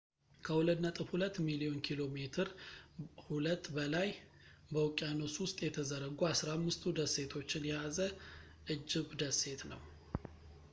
ከ2.2 ሚሊዮን ኪ.ሜ2 በላይ በውቅያኖስ ውስጥ የተዘረጉ 15ቱ ደሴቶችን የያዘ እጅብ ደሴት ነው